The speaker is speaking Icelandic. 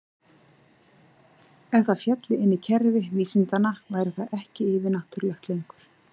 Ef það félli inn í kerfi vísindanna væri það ekki yfir-náttúrulegt lengur.